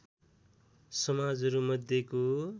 समाजहरू मध्येको